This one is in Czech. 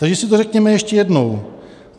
Takže si to řekněme ještě jednou.